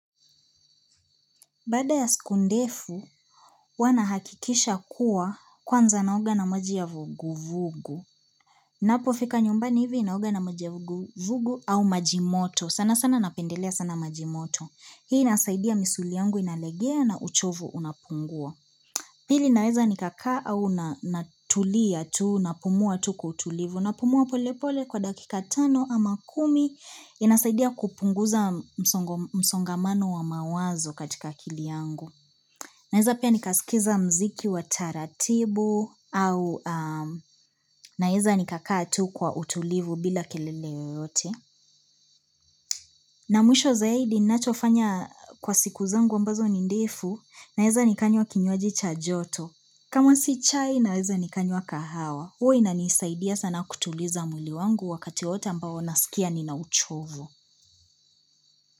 Baada ya siku ndefu, huwa nahakikisha kuwa kwanza naoga na mojia vuguvugu. Ninapofika nyumbani hivi naoga na maji ya vuguvugu au maji moto. Sana sana napendelea sana majimoto. Hii inasaidia misuli yangu inalegea na uchovu unapungua. Pili naweza nikakaa au natulia tuu, napumua tu kwa utulivu. Napumua polepole kwa dakika tano ama kumi. Inasaidia kupunguza msongamano wa mawazo katika akili yangu. Naeza pia nikaskiza mziki wa taratibu au naeza nikakaa tu kwa utulivu bila kelele yoyote. Na mwisho zaidi nachofanya kwa siku zangu ambazo ni ndefu naeza nikanywa kinywaji cha joto. Kama si chai naeza nikanywa kahawa. Huwa inanisaidia sana kutuliza mwili wangu wakati wote ambao nasikia ninauchovu.